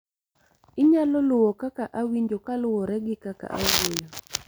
inyalo luwo kaka awinjo kaluwore gi kaka awuoyo